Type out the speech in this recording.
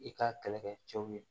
I ka kɛlɛkɛ cɛw ye